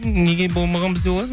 неге болмаған бізде ол ән